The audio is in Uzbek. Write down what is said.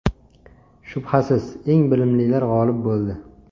Shubhasiz, eng bilimlilar g‘olib bo‘ldi.